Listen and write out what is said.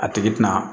A tigi tɛna